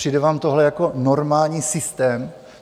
Přijde vám tohle jako normální systém?